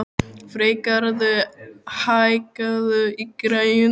Freygarður, hækkaðu í græjunum.